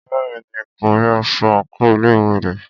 Bẹ́ẹ̀ni, kò rí aṣọ àńkò ilé ìwé rẹ̀.